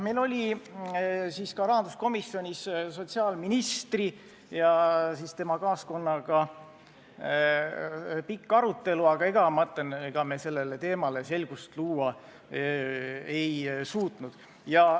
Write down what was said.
Meil oli siis ka rahanduskomisjonis sotsiaalministri ja tema kaaskonnaga pikk arutelu, aga ega me selles teemas selgust luua ei suutnud.